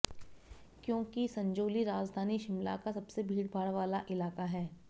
क्योंकि संजौली राजधानी शिमला का सबसे भीड़भाड़ वाला इलाका है